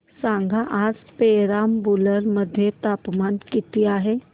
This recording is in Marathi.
सांगा आज पेराम्बलुर मध्ये तापमान किती आहे